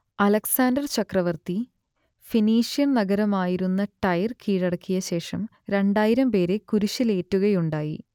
Alexander ചക്രവർത്തി Phoenician നഗരമായിരുന്ന Tyre കീഴടക്കിയശേഷം രണ്ടായിരം പേരെ കുരിശിലേറ്റുകയുണ്ടായി